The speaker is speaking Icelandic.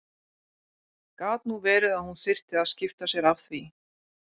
Gat nú verið að hún þyrfti að skipta sér af því!